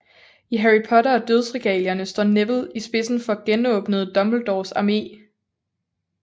I Harry Potter og Dødsregalierne står Neville i spidsen for genåbnede Dumbledores Armé